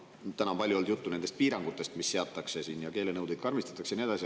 Täna on palju olnud juttu nendest piirangutest, mis seatakse, et keelenõudeid karmistatakse ja nii edasi.